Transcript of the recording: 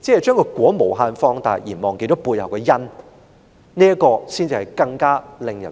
把"果"無限放大而忘記了背後的"因"，這才是更